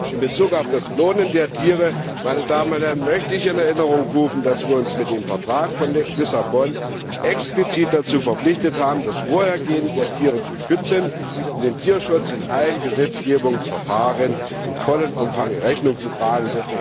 In Bezug auf das Klonen der Tiere möchte ich in Erinnerung rufen, dass wir uns mit dem Vertrag von Lissabon explizit dazu verpflichtet haben, das Wohlergehen der Tiere zu schützen, dem Tierschutz in allen Gesetzgebungsverfahren in vollem Umfang Rechnung zu tragen.